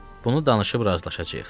Bunu danışıb razılaşacağıq.